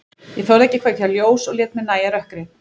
Ég þorði ekki að kveikja ljós og lét mér nægja rökkrið.